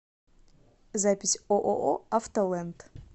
запись ооо автолэнд